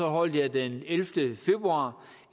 holdt jeg den ellevte februar